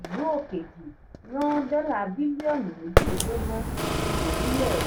ìlu òkejì rán dọ́là bílíọ̀nù méjìlélógún sí orílẹ̀.